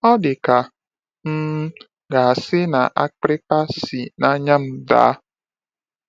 “Ọ dị ka a um ga-asị na akpịrịkpa si n’anya m daa.”